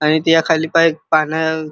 आणि त्या खाली काय पान--